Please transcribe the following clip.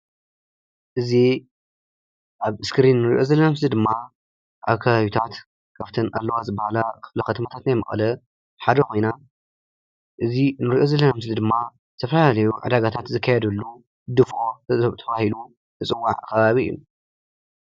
እዚ ኣብ እስክሪን እንሪኦ ዘለና ምስሊ ድማ ኣብ ከባቢታት ኣብተን ኣለዋ ዝባሃላ ክፍለ ከተማታት መቐለ ሓደ ኮይና እዚ እንሪኦ ዘለና ምስሊ ድማ ዝተፈላለዩ ዕዳጋ ታት ዝካየደሉ ድፍኦ ተባሂሉ ዝፅዋዕ ከባቢ እዩ፡፡